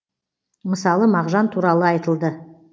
мысалы мағжан туралы айтылды